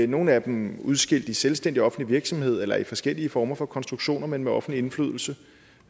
nogle af dem udskilt i selvstændig offentlig virksomhed eller i forskellige former for konstruktioner men med offentlig indflydelse